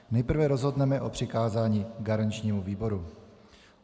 Nejprve rozhodneme o přikázání garančnímu výboru.